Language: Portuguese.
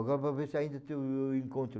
Agora vamos ver se ainda tem, eu encontro.